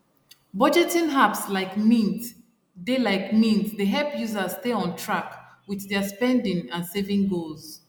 budgeting apps like mint dey like mint dey help users stay on track with their spending and saving goals